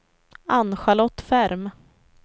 Ann-Charlotte Ferm